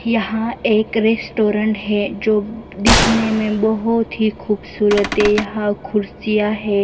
यहां एक रेस्टोरेंट है जो दिखने में बहुत ही खूबसूरत है यहां कुर्सियां है।